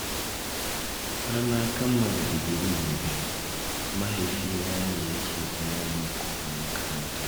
Har na kammala digiri na biyu, mahaifi na ne yake biya min kuɗin makaranta.